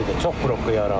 Çox probka yaranır.